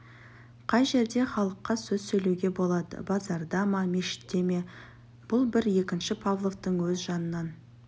қай жерде халыққа сөз сөйлеуге болады базарда ма мешітте ме бұл бір екінші павловтың өз жанынан